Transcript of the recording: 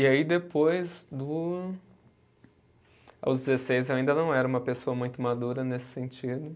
E aí depois do. Aos dezesseis eu ainda não era uma pessoa muito madura nesse sentido.